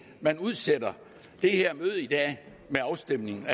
man udsætter det her møde i dag med afstemningen